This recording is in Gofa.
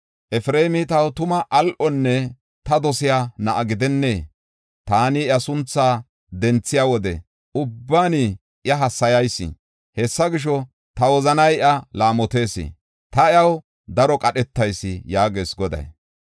“Efreemi taw tuma al7onne ta dosiya na7a gidennee? Taani iya sunthaa denthiya wode ubban iya hassayayis. Hessa gisho, ta wozanay iya laamotees; ta iyaw daro qadhetayis” yaagees Goday.